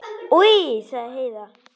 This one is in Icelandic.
Oj, sagði Heiða.